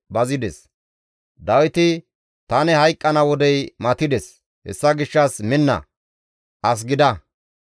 Dawiti, «Tani hayqqana wodey matides; hessa gishshas minna; as gida.